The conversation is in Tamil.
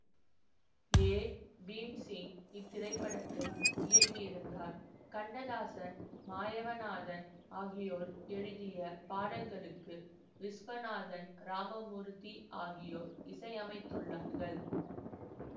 ஏ பீம்சிங் இத்திரைப்படத்தை இயக்கியிருந்தார் கண்ணதாசன் மாயவநாதன் ஆகியோர் எழுதிய பாடல்களுக்கு விசுவநாதன் இராமமூர்த்தி ஆகியோர் இசையமைத்துள்ளார்கள்